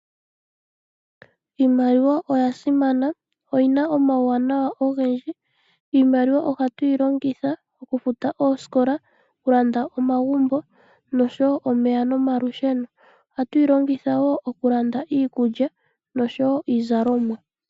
Iimaliwa oya simana oyina omauwanawa ogendji. Iimaliwa ohatuyi longitha okufuta oosikola, omeya , olusheno noshowo okulanda omagumbo. Ohatuyi longtha woo okulanda iikulya noshowo iizalomwa.